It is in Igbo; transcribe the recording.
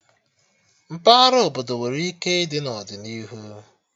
Mpaghara obodo nwere ike ịdị n'ọdịnihu